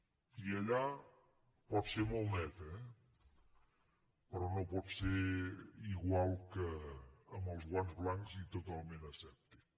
i allà pot ser molt neta eh però no pot ser igual que amb els guants blancs i totalment asèptic